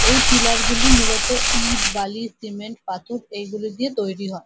এই পিলার গুলি মূলত ইট বালি সিমেন্ট পাথর এগুলো দিয়ে তৈরি হয়।